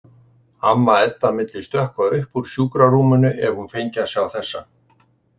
Amma Edda myndi stökkva upp úr sjúkrarúminu ef hún fengi að sjá þessa.